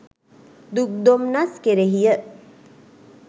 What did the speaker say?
දුක් දොම්නස් කෙරෙහිය.